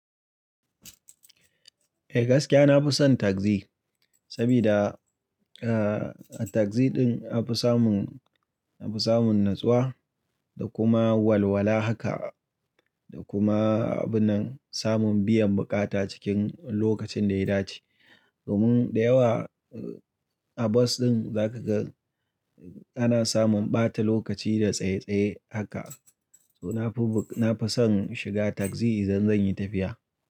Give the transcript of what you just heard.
Eh gaskiya na fi son tagzi, sabida tagzi din na fi samun, na fi samun natsuwa da kuma walwala haka da kuma abun nan samun biyan bukata cikin lokacin da ya dace. Domin da yawa a bas din za ka ga ana samun ɓata lokaci da tsaye-tsaye haka. To na fi, na fi son shiga tagzi idan zan yi tafiya.